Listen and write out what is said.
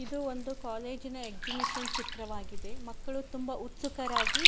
ಇದು ಒಂದು ಕಾಲೇಜಿ ನ ಎಕ್ಸಿಬಿಷನ್ ಚಿತ್ರವಾಗಿದೆ ಮಕ್ಕಳು ತುಂಬ ಉತ್ಸುಕರಾಗಿ --